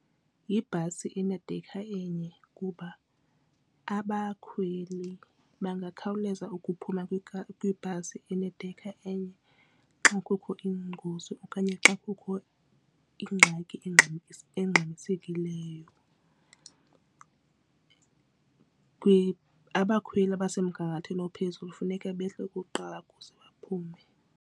Yibhasi enedekha enye kuba abakhweli bangakhawuleza ukuphuma kwibhasi enedekha enye xa kukho ingozi okanye xa kukho ingxaki engxamisekileyo. Abakhweli abasemgangathweni ophezulu funeke behle kukuqala ukuze baphume.